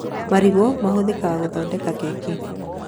Marigũ mahũthĩkaga gũthondeka keki